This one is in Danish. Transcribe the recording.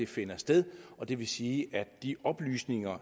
finder sted det vil sige at de oplysninger